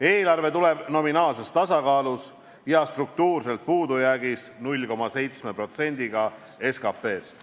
Eelarve tuleb nominaalses tasakaalus ja struktuurselt puudujäägis 0,7%-ga SKP-st.